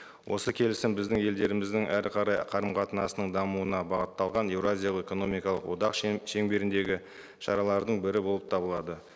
осы келісім біздің елдеріміздің әрі қарай қарым қатынасының дамуына бағытталған еуразиялық экономикалық одақ шеңберіндегі шаралардың бірі болып табылады